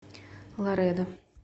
ларедо